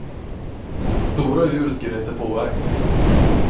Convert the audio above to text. Stora djur skulle inte påverkas lika mycket.